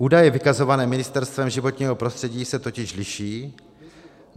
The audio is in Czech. Údaje vykazované Ministerstvem životního prostředí se totiž liší.